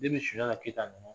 Sunjata Keyita nana